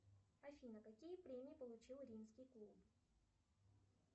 афина какие премии получил римский клуб